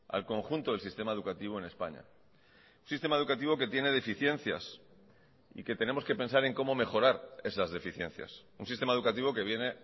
al conjunto del sistema educativo en españa un sistema educativo que tiene deficiencias y que tenemos que pensar en como mejorar esas deficiencias un sistema educativo que viene